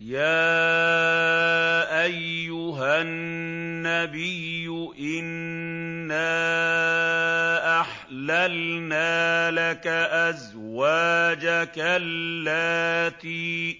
يَا أَيُّهَا النَّبِيُّ إِنَّا أَحْلَلْنَا لَكَ أَزْوَاجَكَ اللَّاتِي